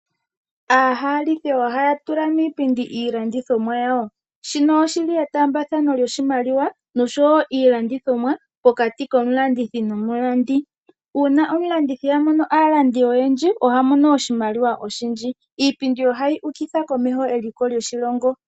Aahalike ohaya tula miipindi iilandithomwa yawo shino oshili etaambathano lyoshimaliwa noshowo iilandithomwa pokati komulandi nomulandithi, uuna omulandithi a mono aalandi oyendji oha mono oshimaliwa oshindji iipindi ohayi ukitha komeho eliko lyoshilongo